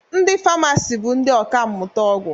Ndị famasi bụ ndị ọkammụta ọgwụ